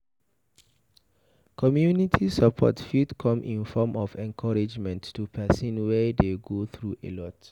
Community support fit come in form of encouragement to person wey dey go through a lot